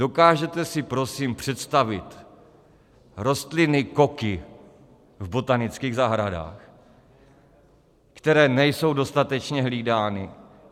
Dokážete si prosím představit rostliny koky v botanických zahradách, které nejsou dostatečně hlídány?